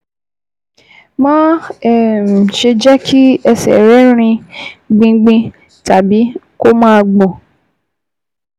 Má um ṣe jẹ́ kí ẹsẹ̀ rẹ rin gbingbin tàbí kó máa gbọ̀n